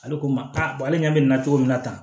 Ale ko n ma ale ɲɛ bɛ na cogo min na tan